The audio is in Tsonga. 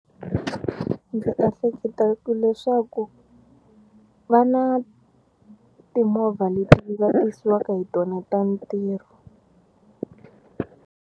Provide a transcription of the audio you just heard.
Ndzi ehleketa ku leswaku va na timovha leti va tisiwaka hi tona ta ntirho.